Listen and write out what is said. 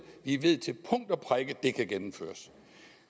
vi ved til punkt og prikke at det kan gennemføres